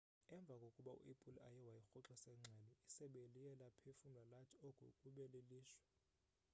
emva kokuba u-apple eye wayirhoxisa ingxelo isebe liye laphefumla lathi oku kube lilishwa